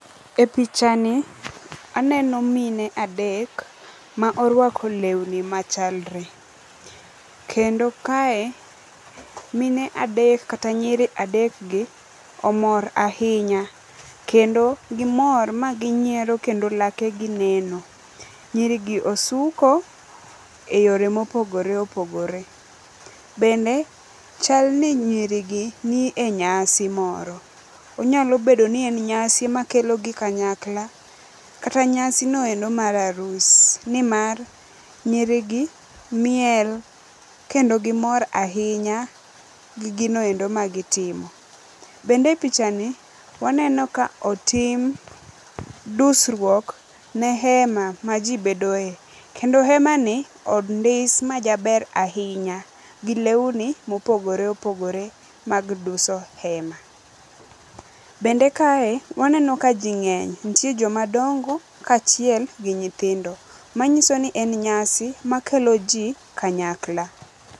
E pichani aneno mine adek ma orwako lewni machalre, kendo kae mine adek kata nyiri adekgi omor ahinya kendo gimor ma ginyiero kendo lakegi neno. Nyirigi osuko e yore mopogore opogore. Bende chalni nyirigi ni e nyasi moro, onyalo bedo ni en nyasi makelogi kanyakla, kata nyasino endo mar arus, nimar nyirigi miel kendo gimor ahinya gi ginoendo magitrimo. Bende e pichani waneno ka otim dusruok ne hema majibedoe kendo hemani ondis majaber ahinya gi lewni mopogore opogore mag duso hema. Bende kae waneno ka ji ng'eny, ntie jomadongo kaachiel gi nyithindo, manyiso ni en nyasi makelo ji kanyakla.